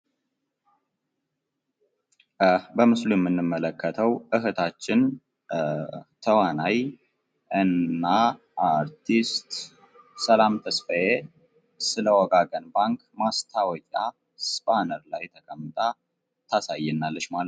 በምስሉ ላይ የምንመለከተው እህታችን ተዋናይ እና አርቲስት ሰላም ተስፋዬ ስለ ወጋገን ባንክ ማስታወቂያ ባነር ላይ ተቀምጣ ታሳየናለች ማለት ነው ።